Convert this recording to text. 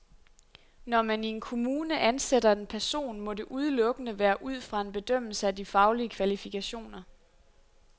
Når man i en kommune ansætter en person, må det udelukkende være ud fra en bedømmelse af de faglige kvalifikationer.